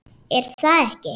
er það ekki?